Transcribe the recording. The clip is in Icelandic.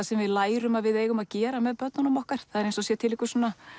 sem við lærum að við eigum að gera með börnunum okkar eins og það sé til einhver